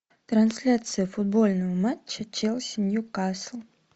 трансляция футбольного матча челси ньюкасл